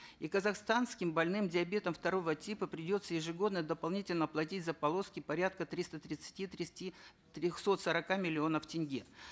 и казахстанским больным диабетом второго типа придется ежегодно дополнительно платить за полоски порядка триста тридцати тридцати трехсот сорока миллионов тенге